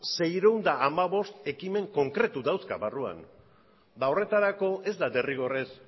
seiehun eta hamabost ekimen konkretu dauzka barruan horretarako ez da derrigorrez